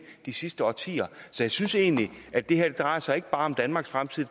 de sidste årtier så jeg synes egentlig at det her ikke bare drejer sig om danmarks fremtid